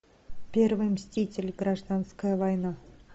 первый мститель гражданская война